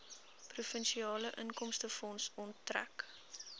provinsiale inkomstefonds onttrek